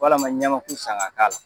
Wala ma ɲamaku san ga k' a la.